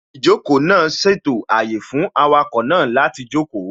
Ìjókòó náà ṣètò àyè fún awakọ̀ náà láti jókòó